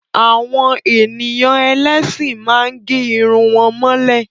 Àwọn ènìyàn ẹlẹ́sìn má ń gẹ́ Irun wọn mọ́lẹ̀